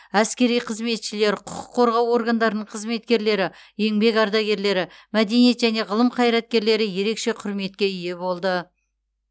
әскери қызметшілер құқық қорғау органдарының қызметкерлері еңбек ардагерлері мәдениет және ғылым қайраткерлері ерекше құрметке ие болды